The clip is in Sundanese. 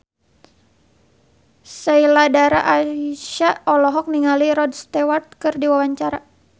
Sheila Dara Aisha olohok ningali Rod Stewart keur diwawancara